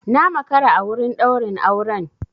Na makara a wurin ɗaurin auren.